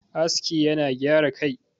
aski yana gyara Kai